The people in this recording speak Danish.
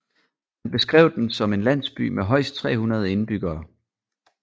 Han beskrev den som en landsby med højst 300 indbyggere